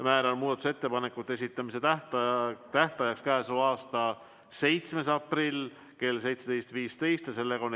Määran muudatusettepanekute esitamise tähtajaks k.a 7. aprilli kell 17.15.